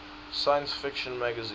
science fiction magazine